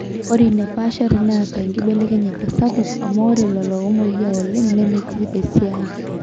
ore ina paashari neeta enkibelekenyata sapuk amu ore lelo oomweyiaa oleng nemetii esia